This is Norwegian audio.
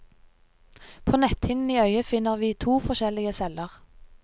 På netthinnen i øyet finner vi to forskjellige celler.